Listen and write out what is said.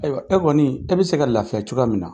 Ayiwa, e kɔni , e bɛ se ka lafiya cogoya min na.